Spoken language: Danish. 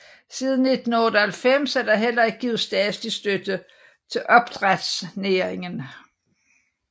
Siden 1998 er der heller ikke givet statlig støtte til opdrætsnæringen